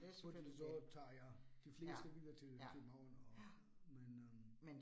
Fordi så tager jeg de fleste videre til København og, men øh